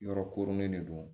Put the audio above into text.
Yɔrɔ koronnen de don